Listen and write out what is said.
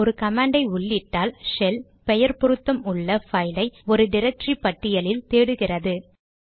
நாம் ஒரு கமாண்டை உள்ளிட்டால் ஷெல் பெயர் பொருத்தம் உள்ள பைல் ஐ ஒரு டிரக்டரி பட்டியலில் தேடுகிறது